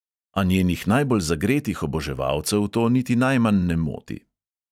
A njenih najbolj zagretih oboževalcev to niti najmanj ne moti.